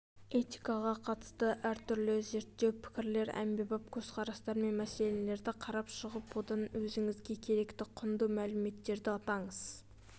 этикаға қатысты әртүрлі зерттеу пікірлер әмбебап көзқарастар мен мәселелерді қарап шығып одан өзіңізге керекті құнды мәліметтерді атаңыз